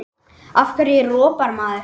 Af hverju ropar maður?